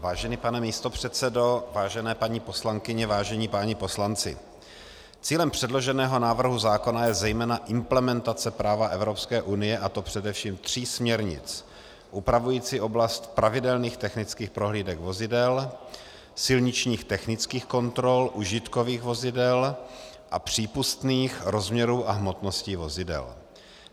Vážený pane místopředsedo, vážené paní poslankyně, vážení páni poslanci, cílem předloženého návrhu zákona je zejména implementace práva Evropské unie, a to především tří směrnic upravujících oblast pravidelných technických prohlídek vozidel, silničních technických kontrol užitkových vozidel a přípustných rozměrů a hmotnosti vozidel.